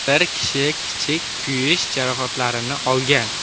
Bir kishi kichik kuyish jarohatlarini olgan.